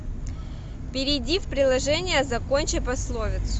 перейди в приложение закончи пословицу